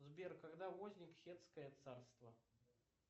сбер когда возник хеттское царство